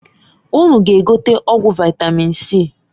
Unu g'egote ọgwụ vaitamin C.